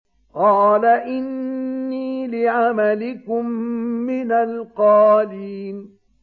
قَالَ إِنِّي لِعَمَلِكُم مِّنَ الْقَالِينَ